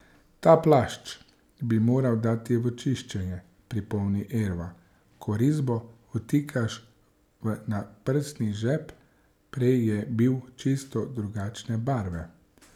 Ta plašč bi moral dati v čiščenje, pripomni Erva, ko risbo vtikaš v naprsni žep, prej je bil čisto drugačne barve.